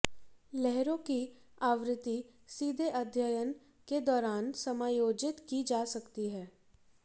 लहरों की आवृत्ति सीधे अध्ययन के दौरान समायोजित की जा सकती है